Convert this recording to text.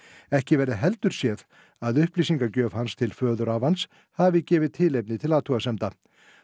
ekki verði heldur séð að upplýsingagjöf hans til föðurafans hafi gefið tilefni til athugasemda